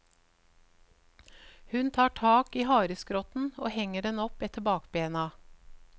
Hun tar tak i hareskrotten og henger den opp etter bakbena.